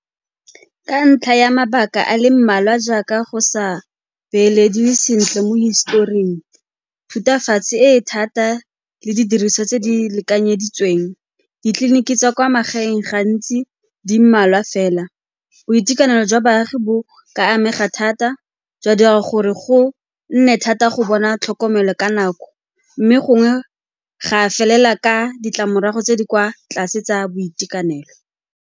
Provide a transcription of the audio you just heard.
Ka ntlha ya mabaka a le mmalwa jaaka go sa beelediwe sentle mo historing, thutafatshi e e thata le didiriswa tse di lekanyeditsweng, ditleliniki tsa kwa magaeng gantsi di mmalwa fela. Boitekanelo jwa baagi bo ka amega thata jwa dira gore go nne thata go bona tlhokomelo ka nako mme gongwe ga felela ka ditlamorago tse di kwa tlase tsa boitekanelo.